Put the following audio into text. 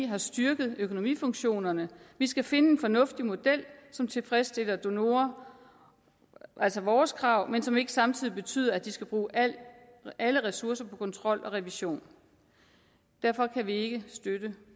har styrket økonomifunktionerne vi skal finde en fornuftig model som tilfredsstiller donorer altså vores krav men som ikke samtidig betyder at de skal bruge alle ressourcer på kontrol og revision derfor kan vi ikke støtte